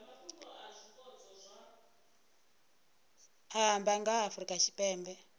amba nga ha afrika tshipembe